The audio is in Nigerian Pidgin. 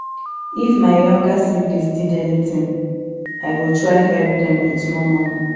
if my younger siblings need anything i go try help them with small money